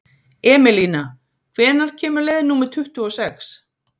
Emelína, hvenær kemur leið númer tuttugu og sex?